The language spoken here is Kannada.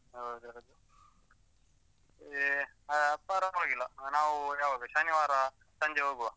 ಹೌದೌದು, ಏ ಆ ಪರ್ವಾಗಿಲ್ಲ, ನಾವು ಯಾವಾಗ ಶನಿವಾರ ಸಂಜೆ ಹೋಗುವ.